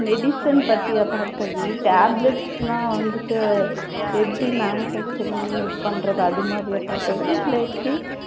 medicine பத்தியா Bhargavi, tablets லா வந்துட்டு எப்படி manufacturing இது பண்றது அது மாதிரியா பார்கவி இல்ல எப்படி?